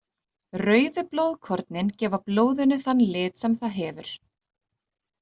Rauðu blóðkornin gefa blóðinu þann lit sem það hefur.